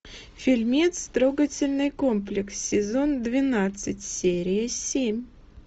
фильмец трогательный комплекс сезон двенадцать серия семь